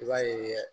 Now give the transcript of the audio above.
I b'a ye